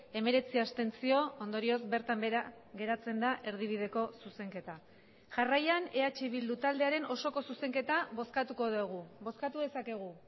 hemeretzi abstentzio ondorioz bertan behera geratzen da erdibideko zuzenketa jarraian eh bildu taldearen osoko zuzenketa bozkatuko dugu bozkatu dezakegu